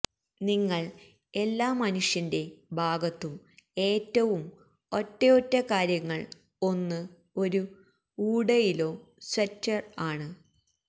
നിങ്ങൾ എല്ലാ മനുഷ്യന്റെ ഭാഗത്തു ൽ ഏറ്റവും ഒറ്റയൊറ്റ കാര്യങ്ങൾ ഒന്ന് ഒരു ഊടയിലോ സ്വെറ്റർ ആണ്